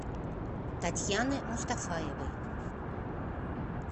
татьяны мустафаевой